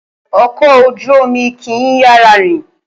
Okò ojú Omi kì í yára rìn